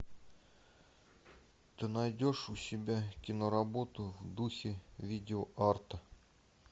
ты найдешь у себя киноработу в духе видеоарта